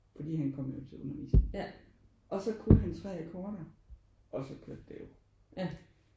Fordi han kom jo til undervisning og så kunne han 3 akkorder og så kørte det jo